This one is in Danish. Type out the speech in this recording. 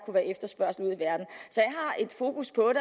har et fokus på